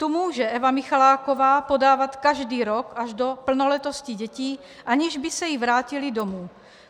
Tu může Eva Michaláková podávat každý rok až do plnoletosti dětí, aniž by se jí vrátily domů.